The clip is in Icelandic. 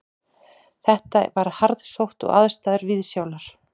Þetta var harðsótt og aðstæður viðsjálar